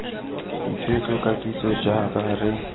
ditshwetso ka kitso jaaka re